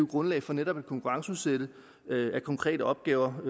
grundlag for netop at konkurrenceudsætte konkrete opgaver og